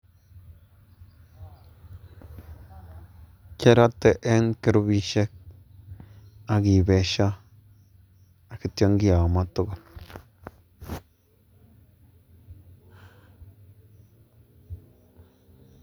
Kirote en kurupishek ak kitomo ak kityo kiyomo tukul.